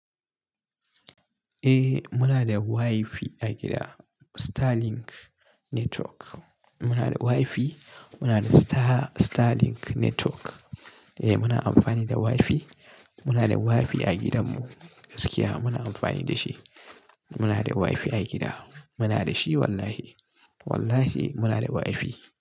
Eh muna da WiFi a gida Starlink Network. Muna da WiFi, muna da Starlink Network. Eh muna amfani da WiFi. Muna da WiFi a gidanmu, gaskiya muna amfani da shi. Muna da WiFi a gida. Muna da shi wallahi. Wallahi muna da WiFi.